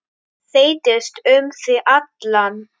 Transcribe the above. Þeytist um þig allan.